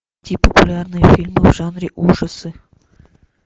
найти популярные фильмы в жанре ужасы